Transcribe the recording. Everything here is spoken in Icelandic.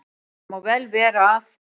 Það má vel vera að